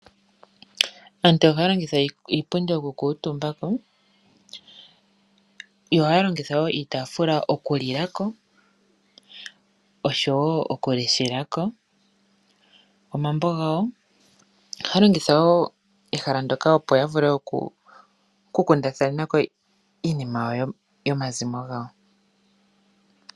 Aantu ohaya longitha iipundi oku kuutumba ko, yo ohaya longitha wo iitaafula oku lila ko oshowo oku leshela ko omambo gawo. Ohaya longitha wo ehala ndoka opo ya vule oku kundathanena ko iinima yomazimo gawo.